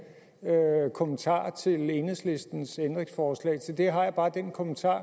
kommentar til enhedslistens ændringsforslag til det har jeg bare en kommentar